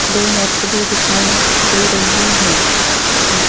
दो नर्स भी दिखाई दे रही है हुं।